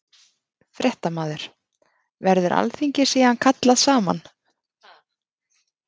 Fréttamaður: Verður alþingi síðan kallað saman?